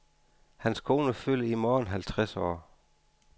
Hans kone fylder i morgen halvtreds år.